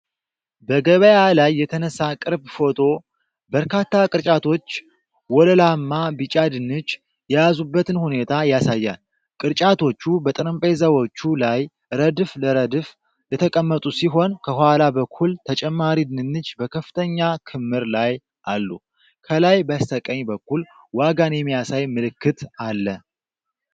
በገበያ ላይ የተነሳ ቅርብ ፎቶ፣ በርካታ ቅርጫቶች ወለላማ ቢጫ ድንች የያዙበትን ሁኔታ ያሳያል። ቅርጫቶቹ በጠረጴዛዎች ላይ ረድፍ ለረድፍ የተቀመጡ ሲሆን ከኋላ በኩል ተጨማሪ ድንች በከፍተኛ ክምር ላይ አሉ። ከላይ በስተቀኝ በኩል ዋጋን የሚያሳይ ምልክት አለ።